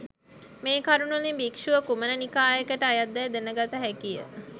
මේ කරුණුවලින් භික්ෂුව කුමන නිකායකට අයත්දැයි දැනගත හැකිය